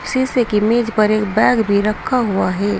शीशे की मेज पर एक बैग भी रखा हुआ है।